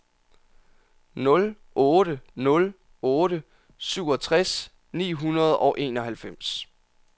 nul otte nul otte syvogtres ni hundrede og enoghalvfems